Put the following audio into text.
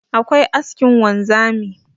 akwai askin wanzami